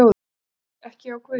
GVENDUR: Ekki hjá guði?